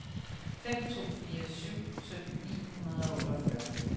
fem to fire syv sytten ni hundrede og otteogfyrre